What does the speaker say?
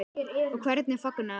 Og hvernig fagnaði hann?